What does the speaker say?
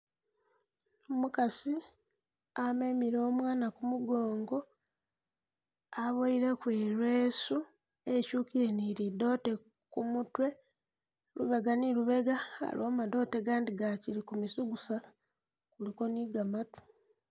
Umukasi amemile umwaana kumugongo, aboyileko i'leesu ityukile ni lidoote kumutwe. Lubega ni lubega aliwo madoote gandi gakili ku misugusa, kuliko ni gamatu.